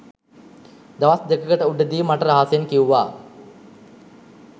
දවස් දෙකකට උඩදී මට රහසෙන් කිව්වා